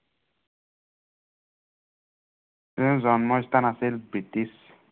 তেওঁৰ জন্মস্থান আছিল ব্ৰিটিছ